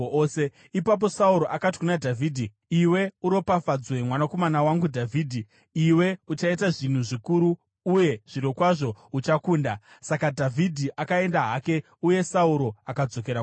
Ipapo Sauro akati kuna Dhavhidhi, “Iwe uropafadzwe, mwanakomana wangu Dhavhidhi; iwe uchaita zvinhu zvikuru uye zvirokwazvo uchakunda.” Saka Dhavhidhi akaenda hake, uye Sauro akadzokera kumusha.